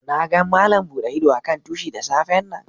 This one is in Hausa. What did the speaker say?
Na gan Malam bude ido a'kan tushi da safe'n nan.